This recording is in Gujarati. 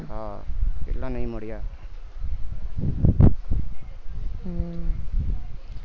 હા કેટલા નહિ મળ્યા